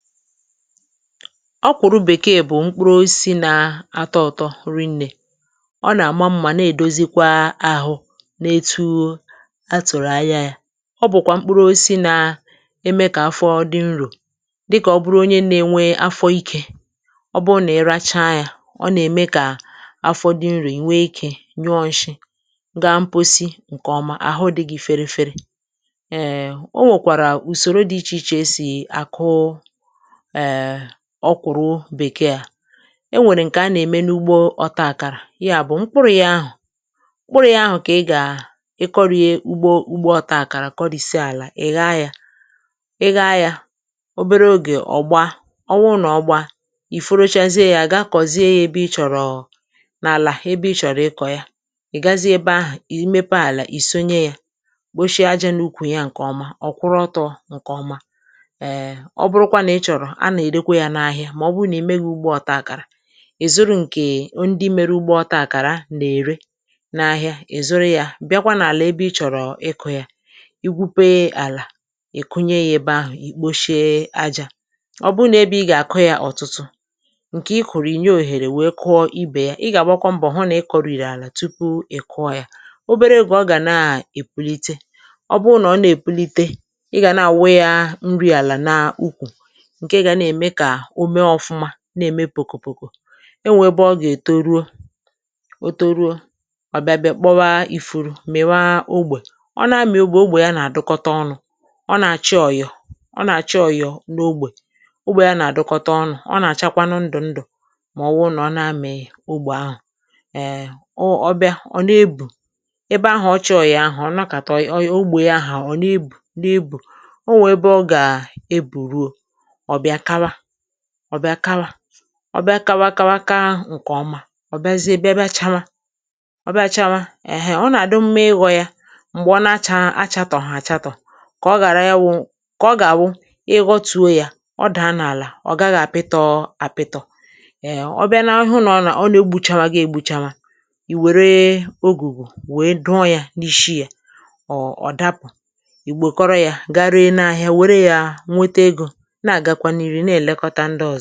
Ọ́kwụ̀rụ̀ bèkee bụ̀ mkpụrụ osisí nà atọ ụ̀tọ rinnė. Ọ nà-àma mmȧ na-èdozikwa ahụ̇ na etu atụ̀rụ̀ anya yȧ,ọ bụ̀kwà mkpụrụ osisi nà eme kà afọ dị nrò. Dịkà ọ bụrụ onye nà-enwe afọ ikė;ọ bụrụ nà-iracha yȧ, ọ nà-ème kà afọ dị nrò ì nwee ikė nyụọ nshị ga mposi ǹkèọma àhụ dị gị ferefere. Ée o nwèkwàrà ùsòro dị ichè ichè e si akụụ[um] ọkwụrụ bèkee à; e nwèrè ǹkè a nà-ème n’ugbo ọta àkàrà, ya bụ̀ mkpụrụ̇ yà ahụ̀ mkpụrụ̇ yà ahụ̀ kà ị gà ị kọrị̀e ụgbo ụ́gbo ọta àkàrà kọrị̀sịa àlà ị̀ gha yȧ, ị gha yȧ obere ogè ọ̀gba ọ wụ nà ọ gbaa; ì fọrọ chazie yȧ ga kọ̀zie ya ebe ị chọ̀rọ̀ n’àlà ebe ị chọ̀rọ̀ ịkọ̀ ya. Ị́ gazie ebe ahụ̀ ì mepe àlà, ì sonye yȧ kposhie ajȧ n’ukwù ya ǹkè ọma ọ kwụrụ ọtọ ǹkè ọma[um];ọ́buru kwa na ị chọrọ á na-ere kwa ya n'ahia ma ọ̀wụ nà i meghi ugbo ọta àkàrà, ị̀ zụrụ ǹkè o ndị mere ugbo ọta àkàrà nà-ère n’ahịa ì zụrụ yȧ bịakwa n’àlà ebe ị chọ̀rọ̀ ịkụ̇ yȧ;i gwupe àlà ị̀ kụnye ya ebe ahụ̀, ì kposhie ajȧ. Ọ́ bụrụ nà ebe ị gà-àkụ yȧ ọ̀tụtụ; ǹkè ị kụ̀rụ̀ ìnye òhèrè nwèe kụọ ibė yà, ị gà-àgbakwọ mbọ̀ hụ nà ị kụ̀rị̀rị̀ àlà tupu ị kụọ yȧ. Obere oge ọ gà na-èpulite, ọ bụ nà ọ nà-èpulite ị gà na-àwụ ya nri àlà na úkwù, nke ga na-ème kà omee ofụ̀ma, na-ème pòkòpòkò. E nwèè ebe ọ gà-èto ruo, o toruo ọ̀bịa bịa kpọwa ifuru mị̀wa ogbè, ọ na-amị̀ ogbè ogbè ya nà-àdụkọta ọnụ̇ ;ọ nà-àchị ọ̀yọ̀ ọ nà-àchị ọ̀yọ̀ n’ogbè ogbè ya nà-àdụkọta ọnụ̇, ọ nà-àchakwanụ ndụ̀ ndụ̀ mà ọ wụ nà ọ na-amị̀ ogbè ahụ̀. um. O ọbịa ọ̀ na-ebù, ebe ahụ̀ ọ chọ̀ọ̀ yà ahụ̀ ọ̀ nọkàtọ yà ogbè yà ahụ̀ ọ̀ na ebù, na ebù. Onwè ebe ọ gà-ebù ruo ọ bịa kawa, ọ bịa kawa, ọ bịa kawa kawa kàà ǹkèọma, ọ bịazie bịa bịa chawa; ọ bịa chawa, ẹ̀hẹ̀n ọ nà-àdu mma ịghọ̇ yȧ m̀gbè ọ na-achȧ achatọ̀ hà achatọ̀; kà ọ ghárà íwụ kà ọ gà-àwụ ịghọtùo yȧ ọ dà nà àlà ọ gaghị̇ àpịtọ̇ àpịtọ̀. Èẹ̀ obịa n’ahụ nà ọ nà ọ na egbùchawa gà-ègbuchawa, ì wère ogùgù wèe dụọ yȧ n’ishi yȧ ọ ọ̀ dapụ̀, ì gbo kọrọ yȧ ga rėe n’ahịa wère yȧ nwete egȯ na ga kwa n'ị́rú na-elekọta ndị ọzọ.